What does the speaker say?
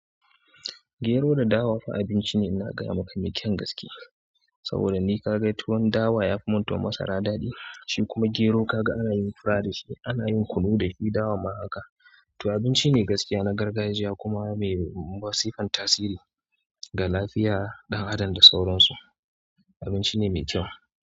Gero da dawa fa abinci ne ina gaya maka mai kyan gaske saboda ni ka ga tuwon dawa ya fi mun tuwon masara daɗi, shi kuma gero kaga anayin fura da shi anayin kunu dashi dawa ma haka. To abinci ne gaskiya na gargajiya kuma mai masifan tasiri ga lafiya ɗan adam da sauransu. Abinci ne mai kyau.